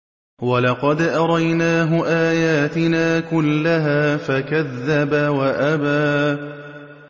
وَلَقَدْ أَرَيْنَاهُ آيَاتِنَا كُلَّهَا فَكَذَّبَ وَأَبَىٰ